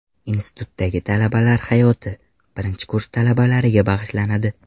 Institutdagi talabalar hayoti birinchi kurs talabalariga bag‘ishlanadi.